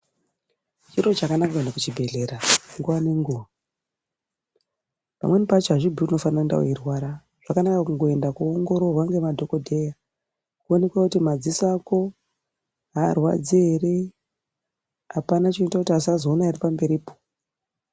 Chiro chakanaka kuenda kuchibhedhlera nguva ngenguva. Pamweni pacho hazvimbui kuti unofanira kuenda veirwara zvakanaka kuenda kunoongororwa nemadhogodheya, kuinekwa kuti madziso ako haarwadzi ere, hapana chinoita kuti asazoona ere pamberipo.